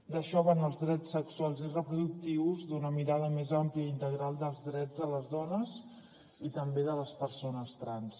d’això van els drets sexuals i reproductius d’una mirada més àmplia integral dels drets de les dones i també de les persones trans